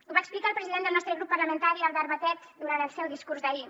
ho va explicar el president del nostre grup parlamentari albert batet durant el seu discurs d’ahir